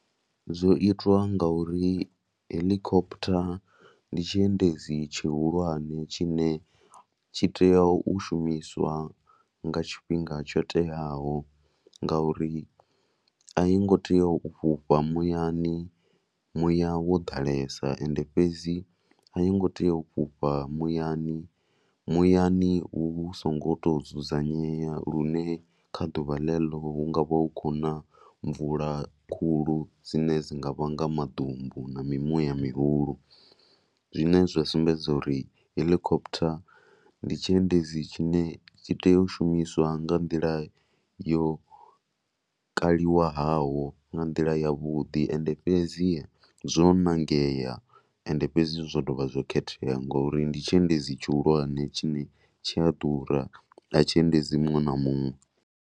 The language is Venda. Zwo itwa ngauri heḽikophotha ndi tshiendedzi tshihulwane tshine tshi tea u shumiswa nga tshifhinga tsho teaho ngauri a yi ngo tea u fhufha muyani muya wo ḓalesa. Ende fhedzi a yo ngo tea u fhufha muyani, muyani u songo tou dzudzanyea lune kha ḓuvha ḽeḽo hu nga vha hu khou na mvula khulu dzine dzi nga vhanga maḓumbu na mimuya mihulu zwine zwa sumbedza uri heḽikophotha ndi tshiendedzi tshine tshi tea u shumiswa nga nḓila i ne yo kaliwaho nga nḓila yavhuḓi. Ende fhedzi zwo ṋangea ende fhedzi zwo dovha zwa khethea ngori ndi tshiendedzi tshihulwane tshine tshi a ḓura, a tshi endedzi muṅwe na muṅwe.